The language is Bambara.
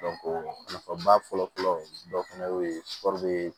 nafaba fɔlɔfɔlɔ dɔ fana ye